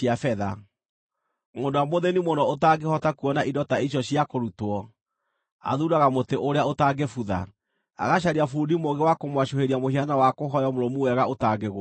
Mũndũ ũrĩa mũthĩĩni mũno ũtangĩhota kuona indo ta icio cia kũrutwo, athuuraga mũtĩ ũrĩa ũtangĩbutha. Agacaria bundi mũũgĩ wa kũmwacũhĩria mũhianano wa kũhooywo mũrũmu wega ũtangĩgũa.